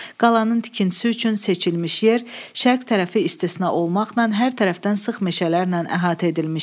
Qalanın tikintisi üçün seçilmiş yer şərq tərəfi istisna olmaqla hər tərəfdən sıx meşələrlə əhatə edilmişdi.